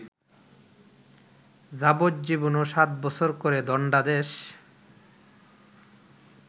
যাবজ্জীবন ও সাতবছর করে দণ্ডাদেশ